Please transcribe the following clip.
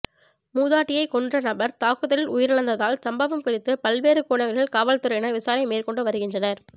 மூதாட்டியை கொன்ற நபர் தாக்குதலில் உயிரிழந்ததால் சம்பவம் குறித்து பல்வேறு கோணங்களில் காவல்துறையினர் விசாரணை மேற்கொண்டு வருகின்றனர்